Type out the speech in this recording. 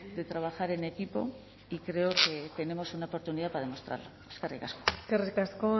de trabajar en equipo y creo que tenemos una oportunidad para demostrarlo eskerrik asko eskerrik asko